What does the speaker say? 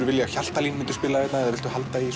vilja að Hjaltalín myndi spila hérna eða viltu halda í